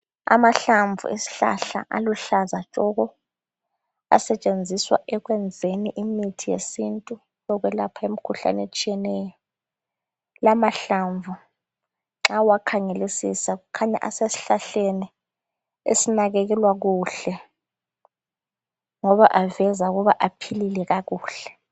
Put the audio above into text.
Amahlamvu esihlahla esiluhlaza tshoko! Asetshenziswa ekwenzeni imithi yesintu, yokwelapha imkhuhlane etshiyeneyo. Lamahlamvu nxa uwakhangelisisa, kukhanya asesihlahleni esinakekelwa kuhle, ngoba aveza ukuba aphilile kakuhle.